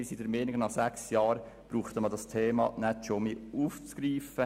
Unseres Erachtens braucht man dieses Thema nicht schon wieder aufzugreifen.